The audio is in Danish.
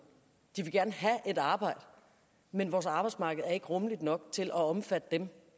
de vil gerne have et arbejde men vores arbejdsmarked er ikke rummeligt nok til at omfatte dem